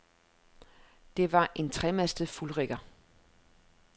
Det var en tremastet fuldrigger.